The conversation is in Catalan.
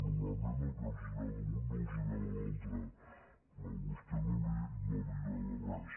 normalment el que agrada a un no agrada a l’altre però a vostè no li agrada res